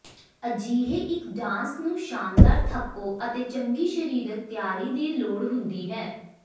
ਅਜਿਹੇ ਇੱਕ ਡਾਂਸ ਨੂੰ ਸ਼ਾਨਦਾਰ ਥੱਕੋ ਅਤੇ ਚੰਗੀ ਸਰੀਰਕ ਤਿਆਰੀ ਦੀ ਲੋੜ ਹੁੰਦੀ ਹੈ